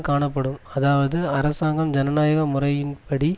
காணப்படும் அதாவது அரசாங்கம் ஜனநாயக முறையின்படி